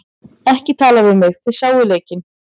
Ekki tala við mig, þið sáuð leikinn.